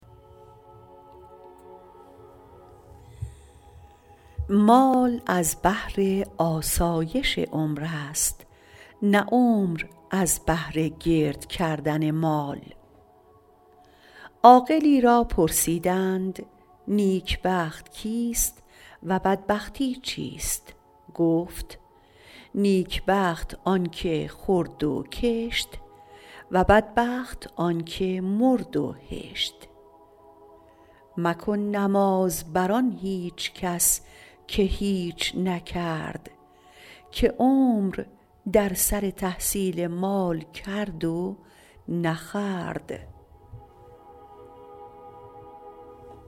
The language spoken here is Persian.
مال از بهر آسایش عمر است نه عمر از بهر گرد کردن مال عاقلی را پرسیدند نیک بخت کیست و بدبختی چیست گفت نیک بخت آن که خورد و کشت و بدبخت آن که مرد و هشت مکن نماز بر آن هیچ کس که هیچ نکرد که عمر در سر تحصیل مال کرد و نخورد